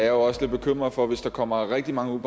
jo også lidt bekymret for hvis der kommer rigtig mange